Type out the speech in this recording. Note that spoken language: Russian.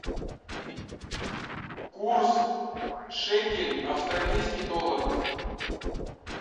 курс шекель австралийский доллар